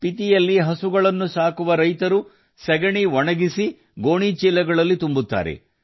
ಸ್ಪಿತಿಯಲ್ಲಿ ಹಸುಗಳನ್ನು ಸಾಕುವ ರೈತರು ಸಗಣಿ ಒಣಗಿಸಿ ಗೋಣಿಚೀಲಗಳಲ್ಲಿ ತುಂಬುತ್ತಾರೆ